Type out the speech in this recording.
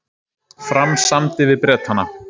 Fram samdi við Bretana